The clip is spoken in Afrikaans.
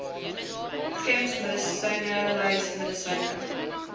gems medisynelys medisyne